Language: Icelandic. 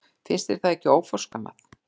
Finnst þér það ekki óforskammað?